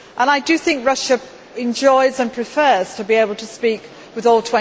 I think Russia enjoys and prefers to be able to speak with all